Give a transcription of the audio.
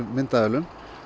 myndavélum